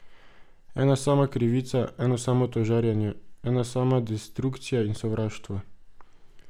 Ena sama krivica, eno samo tožarjenje, ena sama destrukcija in sovraštvo.